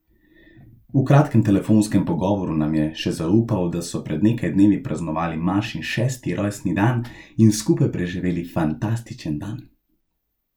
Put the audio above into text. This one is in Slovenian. V kratkem telefonskem pogovoru nam je še zaupal, da so pred nekaj dnevi praznovali Mašin šesti rojstni dan in skupaj preživeli fantastičen dan.